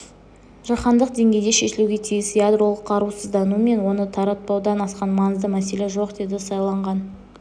жаһандық деңгейде шешілуге тиіс ядролық қарусыздану мен оны таратпаудан асқан маңызды мәселе жоқ деді сайланған